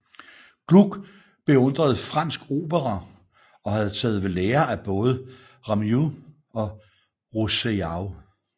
Gluck beundrede fransk opera og havde taget ved lære af både Rameau og Rousseau